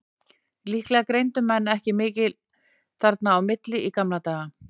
Líklega greindu menn ekki mikið þarna á milli í gamla daga.